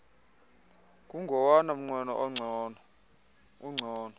kungowona mnqweno ungcono